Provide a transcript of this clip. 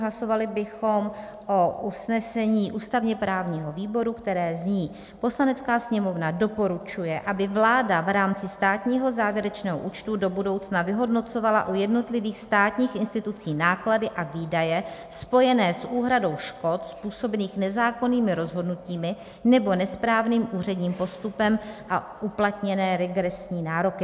Hlasovali bychom o usnesení ústavně-právního výboru, které zní: Poslanecká sněmovna doporučuje, aby vláda v rámci státního závěrečného účtu do budoucna vyhodnocovala u jednotlivých státních institucí náklady a výdaje spojené s úhradou škod způsobených nezákonnými rozhodnutími nebo nesprávným úředním postupem a uplatněné regresní nároky.